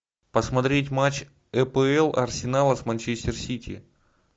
посмотреть матч апл арсенала с манчестер сити